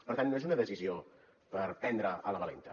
per tant no és una decisió per prendre a la valenta